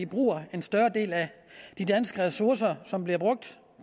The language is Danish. bruger en større del af de danske ressourcer som bliver brugt